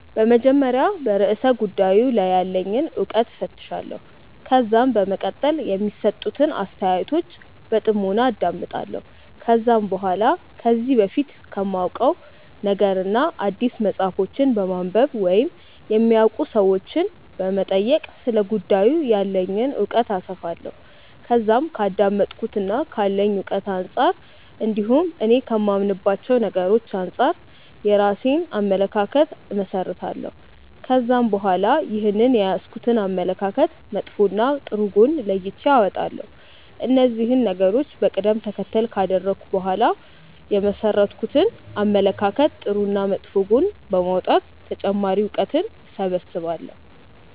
በመጀመሪያ በርእሰ ጉዳዩ ላይ ያለኝን እውቀት እፈትሻለሁ። ከዛም በመቀጠል የሚሰጡትን አስተያየቶች በጥሞና አዳምጣለሁ። ከዛም በኋላ ከዚህ በፊት ከማውቀው ነገርና አዲስ መጽሐፎችን በማንበብ ወይም የሚያውቁ ሰዎችንም በመጠየቅ ስለ ጉዳዩ ያለኝን እውቀት አሰፋለሁ። ከዛም ከአዳመጥኩትና ካለኝ እውቀት አንጻር እንዲሁም እኔ ከማምንባቸው ነገሮች አንጻር የራሴን አመለካከት እመሠረታለሁ። ከዛም በኋላ ይህንን የያዝኩትን አመለካከት መጥፎና ጥሩ ጎን ለይቼ አወጣለሁ። እነዚህን ነገሮች በቀደም ተከተል ካደረኩ በኋላ የመሠረትኩትን አመለካከት ጥሩና መጥፎ ጎን ለይቶ በማውጣት ተጨማሪ እውቀትን እሰበስባለሁ።